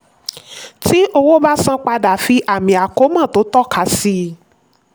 tí owó ba san padà fi àmì àkómọ́ tó tọ́ka sí i.